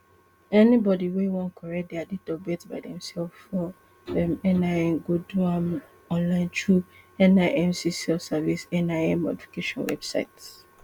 anybody wey wan correct dia date of birth by themselves for um nin go do am online throughnimc selfservice nin modification website